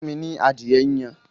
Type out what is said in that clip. Fún mi ní adìẹ yíyan!